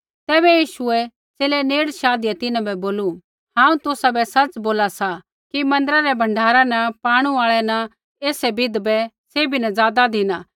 तैबै यीशुऐ च़ेले नेड़े शाधिया तिन्हां बै बोलू हांऊँ तुसाबै सच़ बोला सा कि मन्दिरा रै भण्डारा न पाणु आऐ न ऐसै विधवा बै सैभी न ज़ादा धिना